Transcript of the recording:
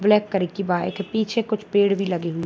black colour की bike है पीछे कुछ पेड़ भी लगे हुइ --